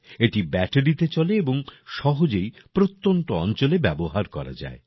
এটি ব্যাটারিতে চলে এবং সহজেই প্রত্যন্ত অঞ্চলে ব্যবহার করা যায়